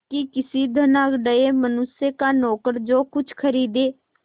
कि किसी धनाढ़य मनुष्य का नौकर जो कुछ खरीदे